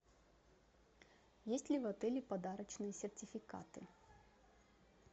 есть ли в отеле подарочные сертификаты